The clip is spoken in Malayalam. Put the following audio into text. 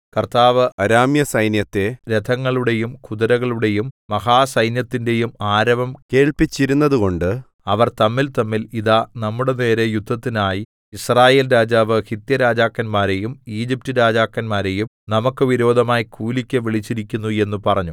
കർത്താവ് അരാമ്യസൈന്യത്തെ രഥങ്ങളുടെയും കുതിരകളുടെയും മഹാസൈന്യത്തിന്റെയും ആരവം കേൾപ്പിച്ചിരുന്നതുകൊണ്ട് അവർ തമ്മിൽതമ്മിൽ ഇതാ നമ്മുടെനേരെ യുദ്ധത്തിനായി യിസ്രായേൽ രാജാവ് ഹിത്യരാജാക്കന്മാരെയും ഈജിപ്റ്റ് രാജാക്കന്മാരെയും നമുക്ക് വിരോധമായി കൂലിക്ക് വിളിച്ചിരിക്കുന്നു എന്ന് പറഞ്ഞു